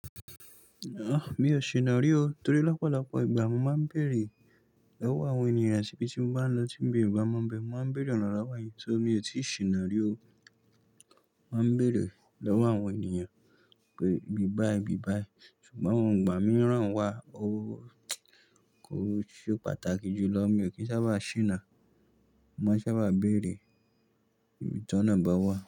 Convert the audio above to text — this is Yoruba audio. Ah! Mi ò ṣìnà rí o. Torí lọ́pọ̀lọpọ̀ ìgbà mo máa ń bèèrè lọ́wọ́ àwọn ènìyàn ibí tí mo bá ń lọ tí mi ò bá mọ̀ bẹ, mo máa ń bèèrè ọ̀nà lowo yẹn. Ṣó mi ò tíì ṣìnà rí o mo má ń bèèrè lọ́wọ́ àwọn ènìyàn pé, ibí bá i bí bá i. Ṣùgbọ́n ọ̀ igbà mí rán wá. O ko ṣe pàtàkì ju lọ. Mi ò kí ń sábà ṣìnà. Mo máa ń sábà béèrè ibi tí ọnà bá wà.